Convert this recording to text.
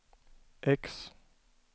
X